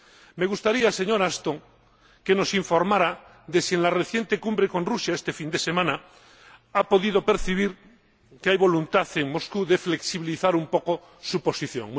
Me gustaría, señora Ashton, que nos informara de si en la reciente cumbre con Rusia este fin de semana ha podido percibir que hay voluntad en Moscú de flexibilizar un poco su posición.